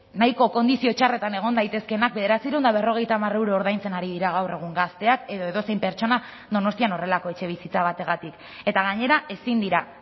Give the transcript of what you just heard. nahiko kondizio txarretan egon daitezkeenak bederatziehun eta berrogeita hamar euro ordaintzen ari dira gaur egun gazteak edo edozein pertsona donostian horrelako etxebizitza bategatik eta gainera ezin dira